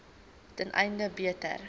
ten einde beter